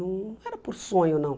Não era por sonho, não.